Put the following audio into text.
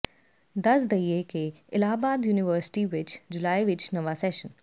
ਦਸ ਦਈਏ ਕਿ ਇਲਾਹਾਬਾਦ ਯੂਨੀਵਰਸਿਟੀ ਵਿਚ ਜੁਲਾਈ ਵਿਚ ਨਵਾਂ ਸੈਸ਼ਨ